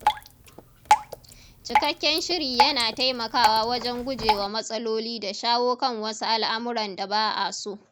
Cikakken shiri yana taimakawa wajen guje wa matsaloli da shawo kan wasu al'amuran da ba a so.